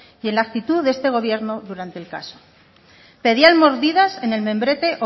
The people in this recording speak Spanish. y en la actitud de este gobierno durante el caso pedían mordidas en el membrete